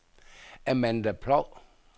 Amanda Ploug